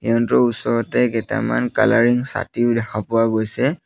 ইহঁতৰ ওচৰতে কেতামান কালাৰিং ছাতিও দেখা পোৱা গৈছে।